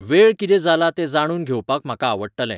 वेळ कितें जाला तें जाणूून घेवपाक म्हाका आवडटलें